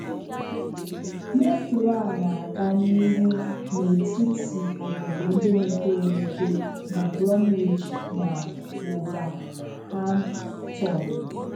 Metro a na - aga n'ihu n'etiti obodo ndị mepere emepe bụ Bromwich na wolverhamptpn